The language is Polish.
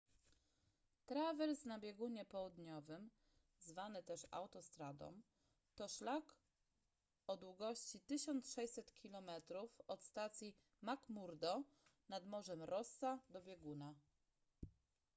trawers na biegunie południowym zwany też autostradą to szlak o długość 1600 km od stacji mcmurdo nad morzem rossa do bieguna